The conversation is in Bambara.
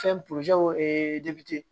Fɛn